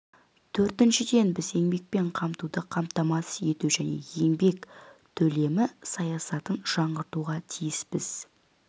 төртіншіден біз еңбекпен қамтуды қамтамасыз ету және еңбек төлемі саясатын жаңғыртуға тиіспіз